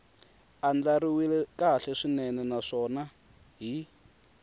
andlariwile kahle swinene naswona hi